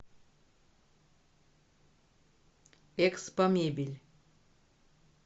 экспомебель